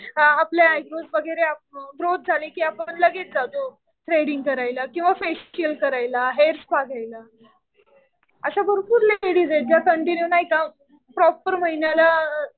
आपल्या आयब्रोज वगैरे असो ग्रोथ झाली कि आपण लगेच जातो थ्रेडींग करायला किंवा फेशियल करायला, हेअर स्पा घ्यायला. अशा भरपूर लेडीज आहेत ज्या कंटिन्यू नाही का प्रॉपर महिन्याला